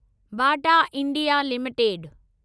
Bata India limited